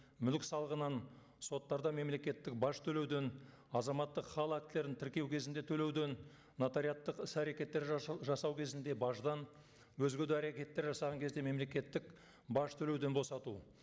мүлік салығынан соттарда мемлекеттік баж төлеуден азаматтық хал актілерін тіркеу кезінде төлеуден нотариаттық іс әрекеттер жасау кезінде баждан өзге де әрекеттер жасаған кезде мемлекеттік баж төлеуден босату